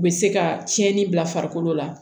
U bɛ se ka tiɲɛni bila farikolo la